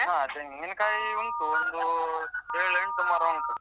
ಹಾ ತೆಂಗಿನಕಾಯಿ ಉಂಟು ಒಂದೂ ಏಳ್ ಎಂಟು ಮರ ಉಂಟು.